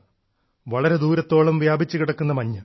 വളരെ ദൂരത്തോളം വ്യാപിച്ചു കിടക്കുന്ന മഞ്ഞ്